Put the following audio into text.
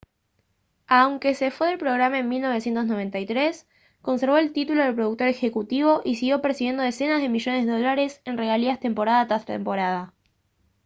aunque se fue del programa en 1993 conservó el título de productor ejecutivo y siguió percibiendo decenas de millones de dólares en regalías temporada tras temporada